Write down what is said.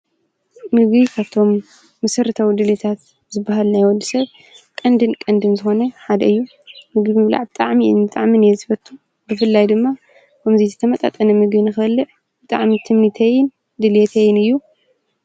ንጕይኻቶም ምስርተው ድልታት ዝበሃልናይወዲ ሰብ ቕንድን ቅንድን ዝኾነ ሓደ እዩ። ምግ ብላዕ ብጥዓም እን ብጥዕምን እየት ዝበቱ ብፍልላይ ድማ ኦምዙይ ዝተመጣጠነ ምግን ኸልዕ ብጥዕምን ትምኒተይን ድልየተይን እዩ።